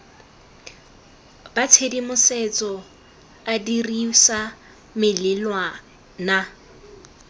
ba tshedimosetso a dirisa melawana